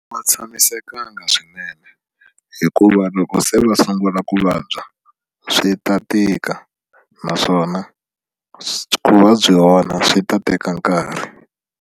Ma tshamisekanga swinene hikuva loko se va sungula ku vabya swi ta tika naswona ku va byi vona swi ta teka nkarhi.